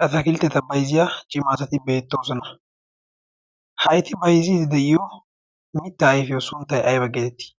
ratakiltteta baiziya cimaasati beettoosana haiti baizidi de7iyo mittaa aifiyo sunttai aiba geedettii